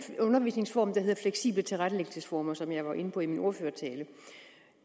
undervisningsform der hedder fleksible tilrettelæggelsesformer og som jeg var inde på i min ordførertale